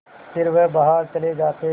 फिर वह बाहर चले जाते